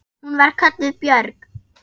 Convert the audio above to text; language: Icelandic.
Hún var kölluð Björg.